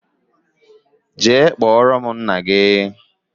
jee kpọrọ m nna gi